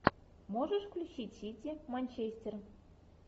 можешь включить сити манчестер